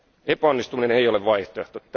Epäonnistuminen ei ole vaihtoehto.